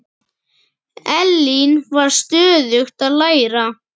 Elín var stöðugt að læra.